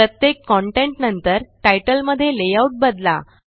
प्रत्येक कंटेंट नंतर तितले मध्ये लेआउट बदला